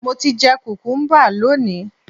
Mo ti jẹ kùkúḿbà lónìí